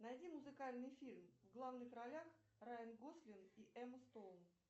найди музыкальный фильм в главных ролях райан гослинг и эмма стоун